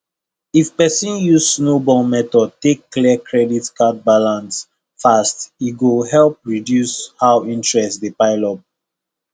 if person use snowball method take clear credit card balance fast e go help reduce how interest dey pile up